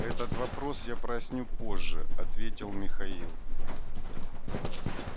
этот вопрос я проясню позже ответил михаил